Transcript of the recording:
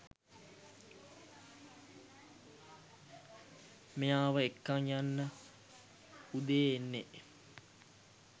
මෙයාව එක්කන් යන්න උදේ එන්නේ.